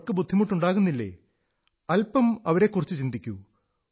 അവർക്ക് ബുദ്ധിമുട്ടുണ്ടാകുന്നില്ലേ അല്പം അവരെക്കുറിച്ചു ചിന്തിക്കൂ